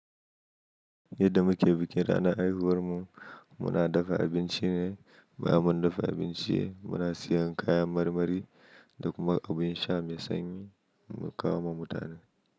Yadda muke bikin ranar haihuwarmu, muna dafa abinci ne, ba mu dafa abinci ba muna siyan kayan marmari da kuma abin sha mai sanyi mu kawo wa mutane.